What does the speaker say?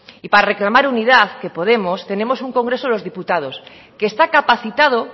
y para reclamar unidad que podemos tenemos un congreso de los diputados que está capacitado